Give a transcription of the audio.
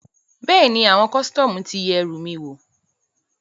Bẹ́ẹ̀ni, àwọn kọ́sítọ́mù ti yẹ ẹrù mi wò